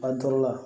An toro